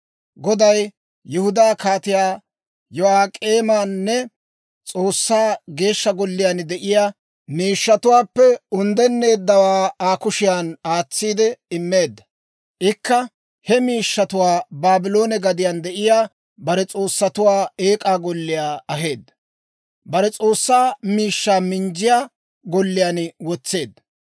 Goday Yihudaa Kaatiyaa Yo'ak'eemanne S'oossaa Geeshsha Golliyaan de'iyaa miishshatuwaappe unddenneeddawaa Aa kushiyan aatsiide immeedda. Ikka he miishshatuwaa Baabloone gadiyaan de'iyaa bare s'oossatuwaa eek'aa golliyaa aheedda; bare s'oossaa miishshaa minjjiyaa golliyaan wotseedda.